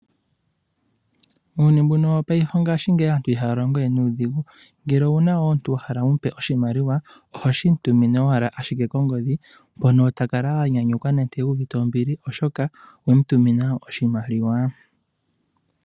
Muuyuni mbuno wongaashingeyi aantu ihaya longo we nuudhigu. Ngele owuna wo omuntu wa hala wumupe oshimaliwa, ohoshi mu tumine owala ashike kongodhi, mpono ta kala a nyanyukwa nande u uvite ombili oshoka owe mu tumina oshimaliwa.